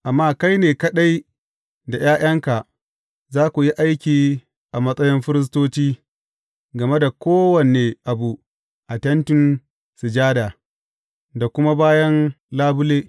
Amma kai ne kaɗai da ’ya’yanka za ku yi aiki a matsayin firistoci game da kowane abu a Tentin Sujada da kuma bayan labule.